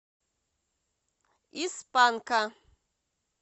из панка